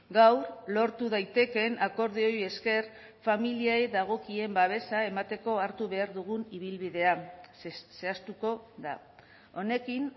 gaur lortu daitekeen akordioei esker familiei dagokien babesa emateko hartu behar dugun ibilbidea zehaztuko da honekin